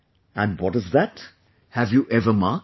And what is that...have you ever marked